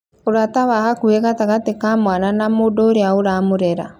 Ũrata wa hakuhĩ gatagatĩ ka mwana na mũndũ ũrĩa ũramũrera